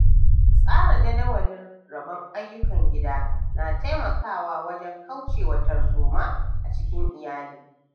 Tsara jadawalin rabon ayyukan gida na taimakawa wajen kauce wa tarzoma a cikin iyali.